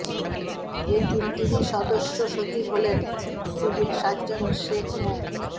এর তিনটিরই সদস্য সচিব হলেন সিভিল সার্জন সেখ মো